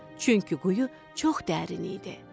Çünki quyu çox dərin idi.